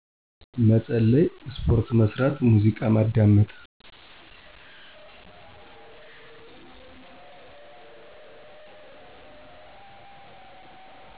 መጸለይ፣ ስፖርት መስራት፣ ሙዚቃ ማዳመጥ።